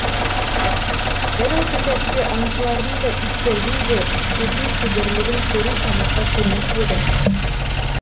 дәл осы сәтте аңшылардың да иттердің де өте шеберлігін көру тамаша көрініс еді